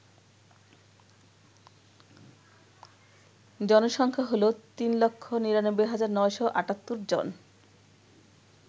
জনসংখ্যা হল ৩৯৯৯৭৮ জন